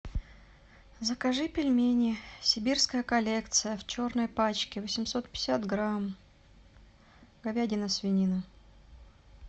закажи пельмени сибирская коллекция в черной пачке восемьсот пятьдесят грамм говядина свинина